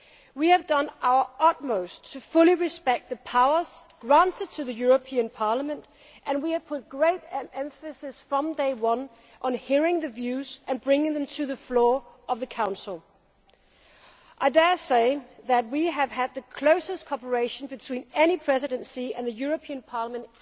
We have done our utmost to fully respect the powers granted to the European Parliament and we have put great emphasis from day one on hearing your views and bringing them to the floor of the Council. I dare say that on this dossier we have had the closest cooperation between any Presidency and the European Parliament